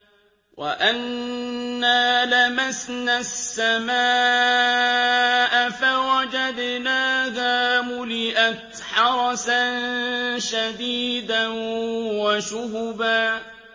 وَأَنَّا لَمَسْنَا السَّمَاءَ فَوَجَدْنَاهَا مُلِئَتْ حَرَسًا شَدِيدًا وَشُهُبًا